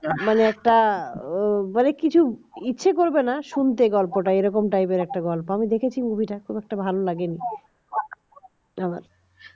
তাহলে একটা মানে কিছুই ইচ্ছে করবে না শুনতে গল্পটা এইরকম type র একটা গল্প আমি দেখেছি movie টা খুব একটা ভালো লাগেনি